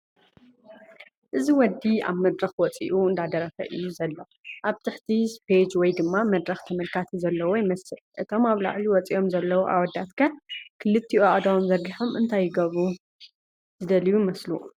እዚ ወዲ ኣብ መድረኽ ወጺኡ እንዳደረፈ 'ዩ ዘሎ፡ ኣብ ትሕቲ ስቴጅ ወይ ድማ መድረኽ ተመልከቲ ዘለውዎ ይመስል እቶም ኣብ ላዕሊ ወፂኦም ዘለዎ ኣወዳት ከ ክልቲኡ አእዳዎም ዘርጊሖም እንታይ ክገብሩ ዝደሉ ይመስሉ ?